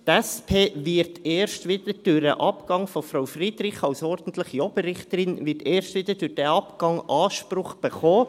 Die SP wird erst wieder durch den Abgang von Frau Friederich als ordentliche Oberrichterin Anspruch erhalten.